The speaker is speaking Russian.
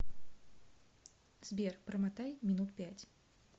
сбер промотай минут пять